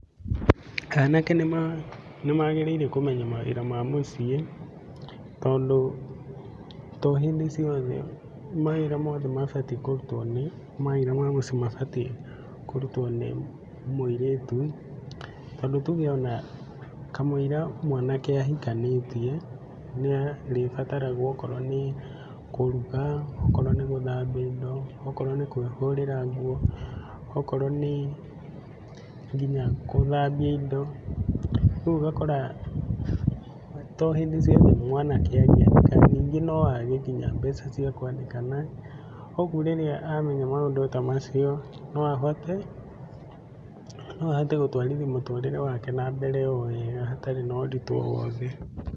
Anake nĩ ma magĩrĩire kũmenya mawĩra ma mũciĩ tondũ to hĩndĩ ciothe mawĩra mothe mabatie kũrũtwo nĩ mawĩra ma mũciĩ mabatie kũrũtwo nĩ mũirĩtũ. Tondũ tuge ona kamũira mwanake ahikanĩtie nĩ arĩbataragwo okorwo nĩ kũruga, okorwo nĩ gũthambia indo, okorwo nĩ kwĩhũrĩra ngũo, okorwo nĩ nginya kũthambia indo rĩu ũgakora tohĩndĩ ciothe mwanake ningĩ no age mbeca cia kwandĩkana. Kogũo rĩrĩa amenya maũndũ ta macio no ahote, no ahote gũtwarithia mũtũrĩre wake na mbere owega hatarĩ na ũritũ owothe.